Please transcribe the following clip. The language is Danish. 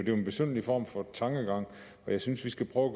jo en besynderlig form for tankegang og jeg synes vi skal prøve at